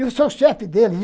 Eu sou o chefe deles.